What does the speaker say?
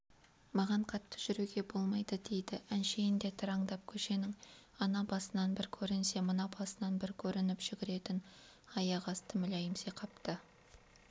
маған қатты жүруге болмайды дейді әншейінде тыраңдап көшенің ана басынан бір көрінсе мына басынан бір көрініп жүгіретін аяқ асты мүләйімси қапты